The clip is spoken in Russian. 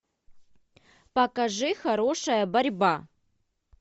покажи хорошая борьба